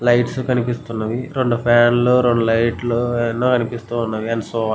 Lights కనిపిస్తున్నాయి. రెండు ఫ్యాన్లు రెండు లైట్లు ఎన్నో కనిపిస్తున్నవి. And so on --